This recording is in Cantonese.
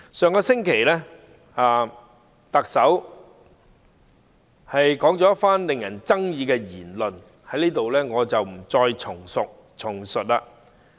上星期，特首說了一番具爭議的言論，我在這裏不再複述。